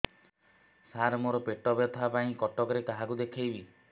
ସାର ମୋ ର ପେଟ ବ୍ୟଥା ପାଇଁ କଟକରେ କାହାକୁ ଦେଖେଇବି